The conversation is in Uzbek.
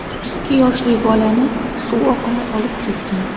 Ikki yoshli bolani suv oqimi olib ketgan.